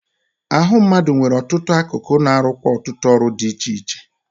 Ahụ mmadụ nwere ọtụtụ akụkụ na-arụkwa ọtụtụ ọrụ di iche iche.